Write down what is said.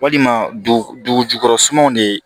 Walima dugu jukɔrɔ sumanw de